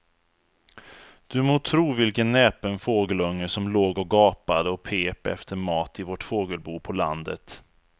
Du må tro vilken näpen fågelunge som låg och gapade och pep efter mat i vårt fågelbo på landet.